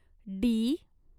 D